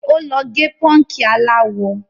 Ó lọ gẹ pọ́ǹkì aláwọ.